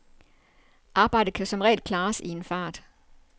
Arbejdet kan som regel klares i en fart.